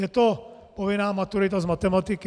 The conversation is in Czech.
Je to povinná maturita z matematiky.